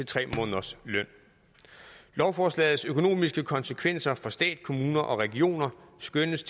tre måneders løn lovforslagets økonomiske konsekvenser for stat kommuner og regioner skønnes